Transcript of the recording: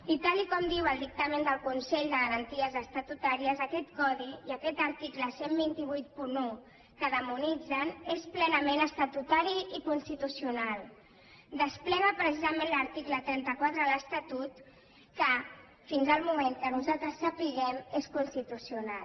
i tal com diu el dictamen del consell de garanties estatutàries aquest codi i aquest article dotze vuitanta u que demonitzen és plenament estatutari i constitucional desplega precisament l’article trenta quatre de l’estatut que fins al moment que nosaltres sapiguem és constitucional